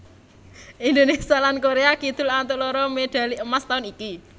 Indonésia lan Korea Kidul antuk loro medhali emas taun iku